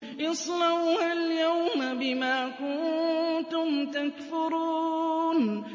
اصْلَوْهَا الْيَوْمَ بِمَا كُنتُمْ تَكْفُرُونَ